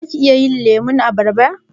Zaka iya yin lemun abarba?